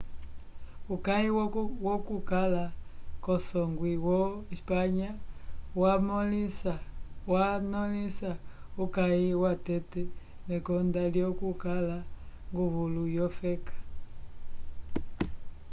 uyaki wokukala kusongwi wo espanha yamõlisa uyaki watete mekonda lyokukala nguvulu wofeka